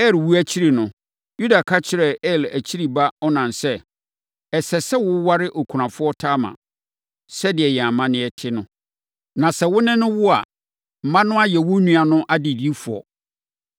Er wuo akyiri no, Yuda ka kyerɛɛ Er akyiri ba Onan sɛ, “Ɛsɛ sɛ woware okunafoɔ Tamar, sɛdeɛ yɛn amanneɛ te no, na sɛ wo ne no wo a, mma no ayɛ wo nua no adedifoɔ.”